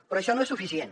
però això no és suficient